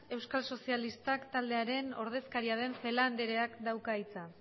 euskal sozialistak taldearen ordezkaria den celaá andreak dauka hitza